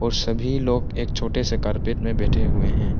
सभी लोग एक छोटे से कारपेट में बैठे हुए हैं।